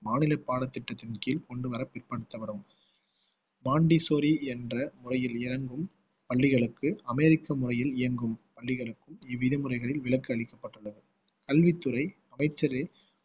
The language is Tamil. மாநில பாடத்திட்டத்தின் கீழ் கொண்டு வர பிற்படுத்தப்படும் பாண்டிச்சேரி என்ற முறையில் இயங்கும் பள்ளிகளுக்கு அமெரிக்க முறையில் இயங்கும் பள்ளிகளுக்கும் இவ்விதிமுறைகளில் விலக்கு அளிக்கப்பட்டுள்ளது கல்வித்துறை அமைச்சரே